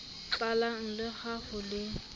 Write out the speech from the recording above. tlalang le ha ho le